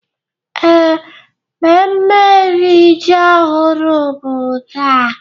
Ee, mmemme iri ji ọhụrụ bụ taa.